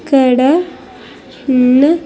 ఇక్కడ ఉన్న.